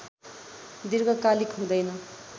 दीर्घकालिक हुँदैन